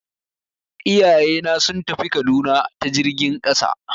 Iyayena sun tafi Kaduna ta jirgin ƙasa.